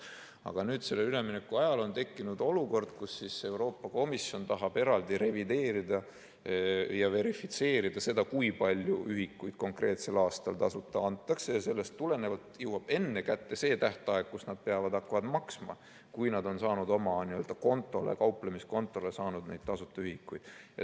Aga nüüd sellel üleminekuajal on tekkinud olukord, kus Euroopa Komisjon tahab eraldi revideerida ja verifitseerida seda, kui palju ühikuid konkreetsel aastal tasuta antakse, ja sellest tulenevalt jõuab enne kätte see tähtaeg, kus nad peavad hakkama maksma, kui nad on saanud oma kontole, kauplemiskontole, neid tasuta ühikuid.